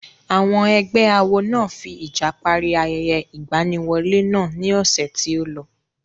Àwọn ẹgbẹ́ awo náà fi ìjà parí ayẹyẹ ìgbaniwọlé náà ní ọ̀sẹ̀ tí ó lọ.